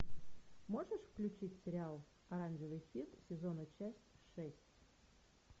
можешь включить сериал оранжевый хит сезона часть шесть